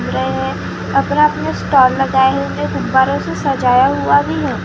अपना अपना स्टॉल लगाया हुआ गुब्बारों से सजाया हुआ भी है।